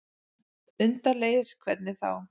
Undarlegir. hvernig þá?